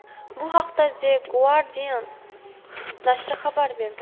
Bu haqda The Guardian nashri xabar berdi.